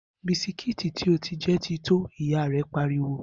Bisikíìtì tí ó ti jẹ ti tó!', ìyá rẹ̀ pariwo